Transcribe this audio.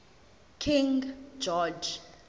king george